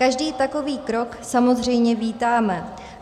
Každý takový krok samozřejmě vítáme.